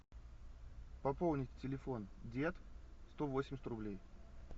пополнить телефон дед сто восемьдесят рублей